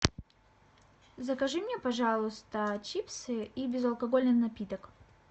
закажи мне пожалуйста чипсы и безалкогольный напиток